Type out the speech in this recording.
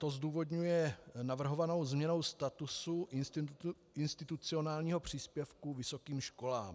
To zdůvodňuje navrhovanou změnou statusu institucionálního příspěvku vysokým školám.